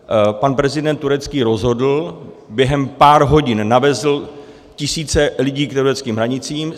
Pan prezident Turecka rozhodl, během pár hodin navezl tisíce lidí k tureckým hranicím.